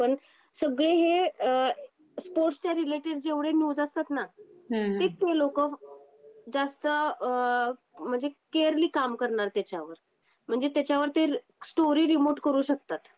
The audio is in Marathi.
पण सगळेच हे स्पोर्ट्सच्या रिलेटेड जेवढे न्यूज असतात ना ते ते लोकं जास्त म्हणजे केअरली काम करणार त्याच्यावर म्हणजे त्याच्यावर ते स्टोरी रिमोट करू शकतात.